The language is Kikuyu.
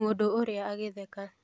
Mũndũ ũrĩa agĩtheka